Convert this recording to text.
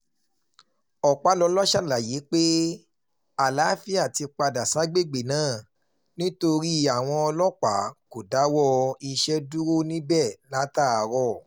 ọpàlọ́la ṣàlàyé pé àlàáfíà ti àlàáfíà ti padà ságbègbè náà nítorí àwọn ọlọ́pàá kò dáwọ́ iṣẹ́ dúró níbẹ̀ látàárọ̀